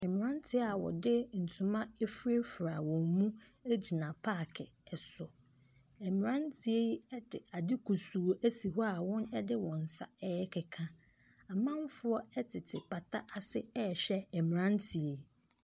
Mmrante bi a wɔde ntoma afurafura wɔn mu gyina park so. Mmranteɛ yi de ade kusuu asi hɔ wɔde wɔn nsa rekeka. Amanfoɔ tete pata ase rehwɛ mmranteɛ yi.